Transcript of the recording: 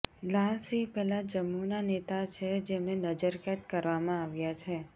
લાલ સિંહ પહેલા જમ્મૂના નેતા છે જેમને નજરકેદ કરવામાં આવ્યાં છે